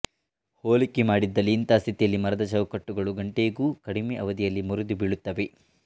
ಹೋಲಿಕೆ ಮಾಡಿದಲ್ಲಿ ಇಂತಹ ಸ್ಥಿತಿಯಲ್ಲಿ ಮರದ ಚೌಕಟ್ಟುಗಳು ಗಂಟೆಗೂ ಕಡಿಮೆ ಅವಧಿಯಲ್ಲಿ ಮುರಿದು ಬೀಳುತ್ತವೆ